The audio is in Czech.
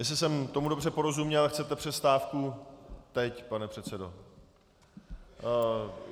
Jestli jsem tomu dobře porozuměl, chcete přestávku teď, pane předsedo.